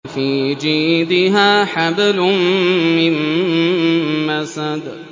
فِي جِيدِهَا حَبْلٌ مِّن مَّسَدٍ